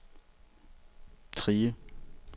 Trige